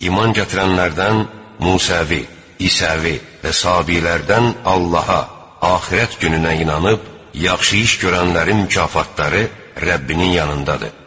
İman gətirənlərdən, Musəvi, İsevivi və Sabilərdən Allaha, Axirət gününə inanıb yaxşı iş görənlərin mükafatları Rəbbinin yanındadır.